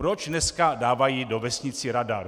Proč dneska dávají do vesnice radar?